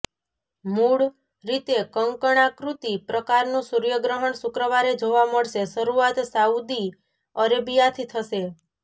મુળ રીતે કંકણાકૃતિ પ્રકારનું સૂર્યગ્રહણ શુક્રવારે જોવા મળશેઃ શરૂઆત સાઉદી અરેબિયાથી થશે